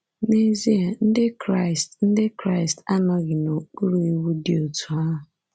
N’ezie, Ndị Kraịst Ndị Kraịst anọghị n’okpuru iwu dị otú ahụ.